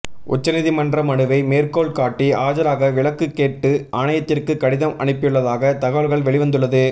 உச்சநீதிமன்ற மனுவை மேற்கோள்காட்டி ஆஜராக விலக்கு கேட்டு ஆணையத்திற்கு கடிதம் அனுப்பியுள்ளதாக தகவல்கள் வெளிவந்துள்ளது